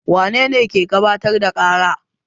Wane ne ke gabatar da ƙara?